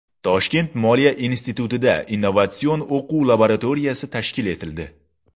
Toshkent moliya institutida innovatsion-o‘quv laboratoriyasi tashkil etildi.